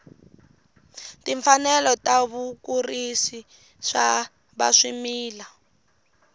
timfanelo ta vakurisi va swimila